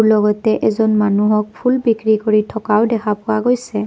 লগতে এজন মানুহক ফুল বিক্ৰী কৰি থকাও দেখা পোৱা গৈছে।